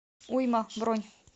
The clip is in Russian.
уйма бронь